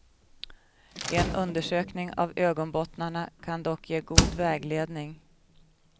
En undersökning av ögonbottnarna kan dock ge god vägledning.